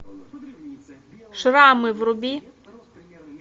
шрамы вруби